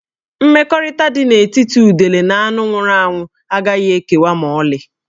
Mmekọrịta dị n'etiti udele na anụ nwụrụ anwụ agaghị ekewa ma ọlị